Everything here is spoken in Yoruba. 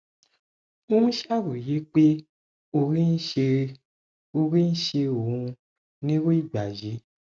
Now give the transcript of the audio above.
ó ń ṣàròyé pé orí ń ṣe orí ń ṣe òun nírú ìgbà yìí